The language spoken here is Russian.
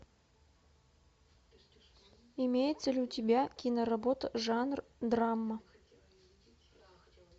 имеется ли у тебя киноработа жанр драма